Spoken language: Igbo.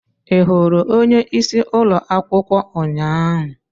Ị hụrụ onyeisi ụlọ akwụkwọ ụnyaahụ?